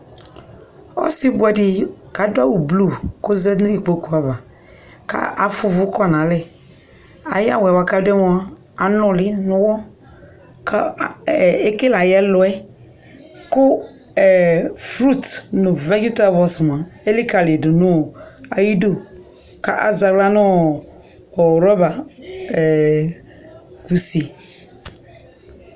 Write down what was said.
ɔsii bʋɛdi kʋ adʋ awʋ blue kʋɔzanʋ ikpɔkʋ aɣa kʋ aƒʋa ʋvʋ kɔnʋ alɛ, ayia awʋ kʋadʋ mʋa, anʋli nʋ ɔwɔ kʋ ɛkɛlɛ ayi ɛlʋɛ, kʋ fruits nʋ vegetables mʋa ɛlikaliyi dʋnʋ ayidʋ kʋ azɛ ala nʋ rubber